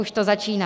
Už to začíná.